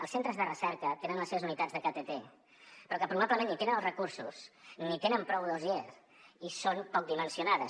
els centres de recerca tenen les seves unitats de ktt però que probablement ni tenen els recursos ni tenen prou dossiers i són poc dimensionades